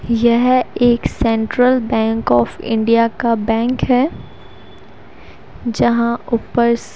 यह एक Central Bank of India का बैंक है जहां ऊपर--